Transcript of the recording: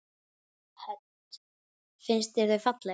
Hödd: Finnst þér þau falleg?